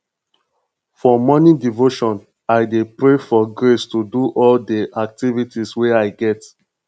for morning devotion i dey pray for grace to do all di activities wey i get